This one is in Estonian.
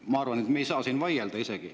Ma arvan, et me ei saa siin üldse vaielda.